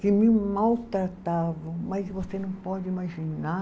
Que me maltratavam, mas você não pode imaginar